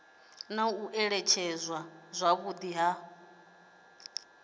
na u alutshedzwa zwavhudi ha